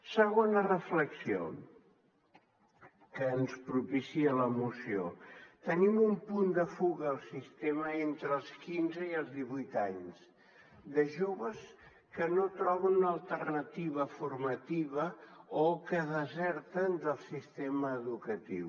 segona reflexió que ens propicia la moció tenim un punt de fuga al sistema entre els quinze i els divuit anys de joves que no troben alternativa formativa o que deserten del sistema educatiu